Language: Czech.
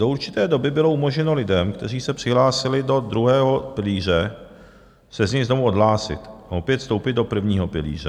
Do určité doby bylo umožněno lidem, kteří se přihlásili do druhého pilíře, se z něho znovu odhlásit a opět vstoupit do prvního pilíře.